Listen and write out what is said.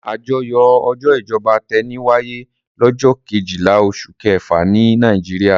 Àjọyọ̀ ọjọ́ ìjọba tẹni wáyé lọ́jọ́ kejìlá oṣù kẹfà nílẹ̀ Nàìjíríà.